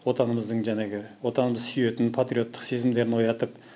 отанымыздың жәңегі отанымызды сүйетін патриоттық сезімдерін оятып